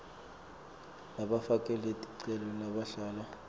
labafake ticelo labahlala